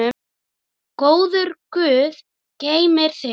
Góður guð geymi þig.